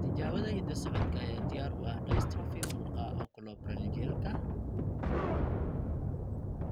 Tijaabada hidda-socodka ayaa diyaar u ah dystrophy muruqa oculoparyngealka (OPMD).